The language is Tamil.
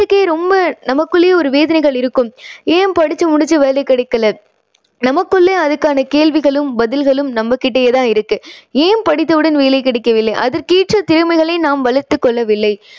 ரொம்ப நமக்குள்ளேயே ஒரு வேதனைகள் இருக்கும். ஏன் படிச்சு முடிச்சு வேலை கிடைக்கலை? நமக்குள்ளேயே அதுக்கான கேள்விகளும் பதில்களும் நம்பகிட்டயே தான் இருக்கு. ஏன் படித்த உடன் வேலை கிடைக்கவில்லை? அதற்கேற்ற திறமைகளை நாம் வளர்த்துக் கொள்ளவில்லை.